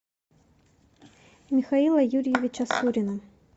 михаила юрьевича сурина